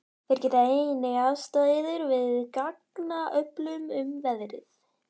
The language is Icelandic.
Þeir geta einnig aðstoðað yður við gagnaöflun um veðrið.